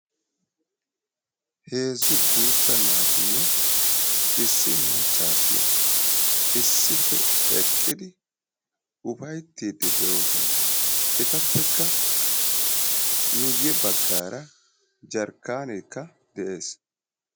heezzu guutta naatinne issi maccaasiya issippe eqqidi ufayittiiddi de'oosona. etappekka miyye baggaara jarkkaaneekka de'es.